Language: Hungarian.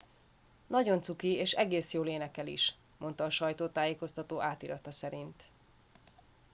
"""nagyon cuki és egész jól énekel is" mondta a sajtótájékoztató átirata szerint.